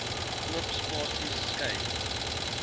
oop spasies skei